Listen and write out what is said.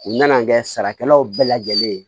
U nana an kɛ sarakɛlaw bɛɛ lajɛlen